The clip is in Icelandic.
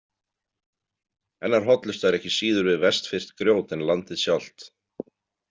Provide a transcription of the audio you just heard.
Hennar hollusta er ekki síður við vestfirskt grjót en landið sjálft.